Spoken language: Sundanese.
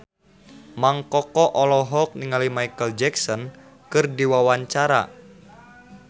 Mang Koko olohok ningali Micheal Jackson keur diwawancara